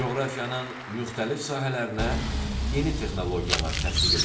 Coğrafiyanın müxtəlif sahələrinə yeni texnologiyalar tətbiq edilir.